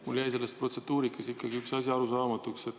Mulle jäi selles protseduurikas ikkagi üks asi arusaamatuks.